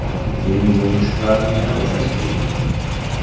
Keyin bu mushaklarni yana bo‘shashtiring.